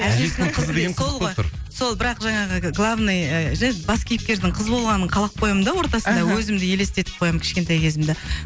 әжесінің қызы деген қызық болып тұр сол ғой сол бірақ жаңағы главный жер бас кейіпкердің қыз болғанын қалап қоямын да ортасында аха өзімді есестетіп қоямын кішкентай кезімді